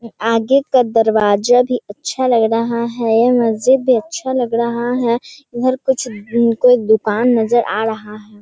आगे का दरवाजा भी अच्छा लग रहा है। मस्जिद भी अच्छा लग रहा है। इधर कुछ कोई दुकान नजर आ रहा है।